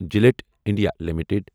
جِلٹھ India limited